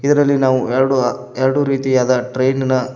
ಇದರಲ್ಲಿ ನಾವು ಎರಡು ಎರಡು ರೀತಿಯಾದ ಟ್ರೈನಿನ--